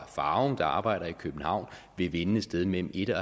farum med arbejde i københavn vil vinde et sted mellem en og